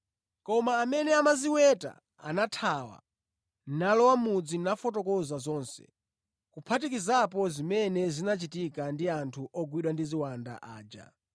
Koma amene amaziweta anathawa nalowa mʼmudzi nafotokoza zonse, kuphatikizapo zimene zinachitika ndi anthu ogwidwa ndi ziwanda aja.